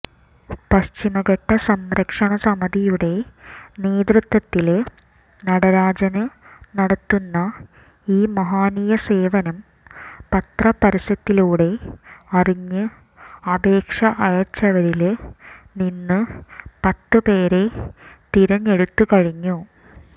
പശ്ചിമഘട്ടസംരക്ഷണസമിതയുടെ നേതൃത്വത്തില് നടരാജന് നടത്തുന്ന ഈ മഹനീയസേവനം പത്രപരസ്യത്തിലൂടെ അറിഞ്ഞ് അപേക്ഷ അയച്ചവരില് നിന്ന് പത്തുപേരെ തിരഞ്ഞെടുത്തു കഴിഞ്ഞു